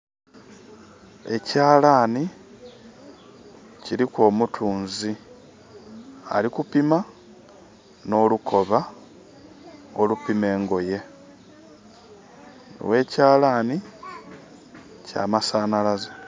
Ekyalani kiriku omutunzi. Ali kupima nolukooba olupima engoye. Owe kyalani kya masanalaze